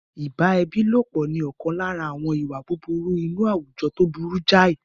Ìbá ẹbí lọ́pọ̀ ni ọ̀kan lára àwọn ìwà búburú inú àwùjọ tó burú jáì.